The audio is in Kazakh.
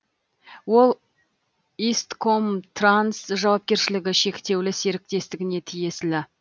ол исткомтранс жауапкершілігі шектеулі серіктестігіне тиесілі